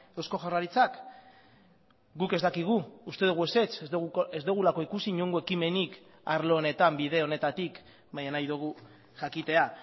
eusko jaurlaritzak guk ez dakigu uste dugu ezetz ez dugulako ikusi inongo ekimenik arlo honetan bide honetatik baina nahi dugu jakitea